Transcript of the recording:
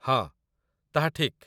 ହଁ, ତାହା ଠିକ୍